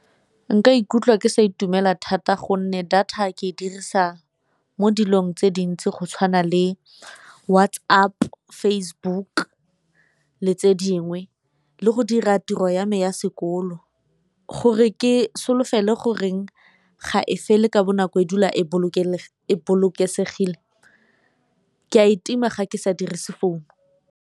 Nka ikutlwa ke sa itumela thata gonne data ke e dirisa mo dilong tse dintsi go tshwana le WhatsApp, Facebook le tse dingwe, le go dira tiro ya me ya sekolo. Gore ke solofele goreng ga e fele ka bonako e dula e bolokesegile ke a e tima ga ke sa dirise founu.